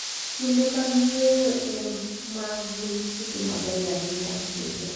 Kinde mag yueyo e ma gin kinde mabeyo ahinya e higa.